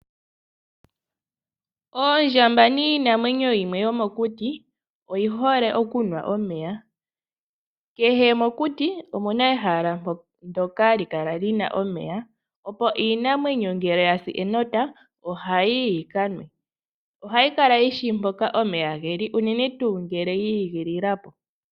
Oondjamba niinamwenyo yimwe yomo kuti, oyihole okunwa omeya. Kehe mokuti opuna ehala ndoka hali kala lina omeya, opo iinamwenyo ngele yasi enota ohayi yi yika nwe. Oha yi kala yishi mpoka omeya geli unene tuu ngele yi igilila po.